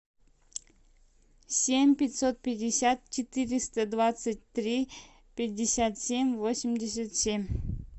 семь пятьсот пятьдесят четыреста двадцать три пятьдесят семь восемьдесят семь